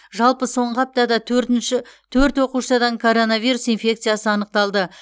жалпы соңғы аптада төртінші төрт оқушыдан коронавирус инфекциясы анықталды